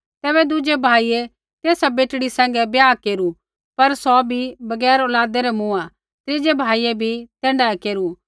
तैबै दुज़ै भाइयै तेसा बेटड़ी सैंघै ब्याह केरू पर सौ बी बगैर औलादै रै मूँआ त्रीज़ै भाइयै भी तैण्ढाऐ केरू